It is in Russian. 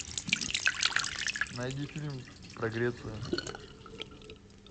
найди фильм про грецию